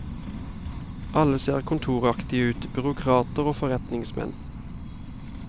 Alle ser kontoraktige ut, byråkrater og forretningsmenn.